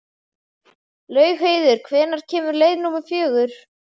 Laugheiður, hvenær kemur leið númer fjögur?